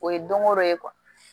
O ye don o don ye